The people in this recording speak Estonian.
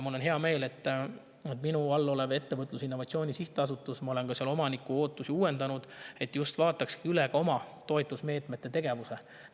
Mul on hea meel, et ma olen minu alluvuses oleva Ettevõtluse ja Innovatsiooni Sihtasutuse omaniku ootusi uuendanud, et see vaataks oma toetusmeetmed ja tegevuse üle.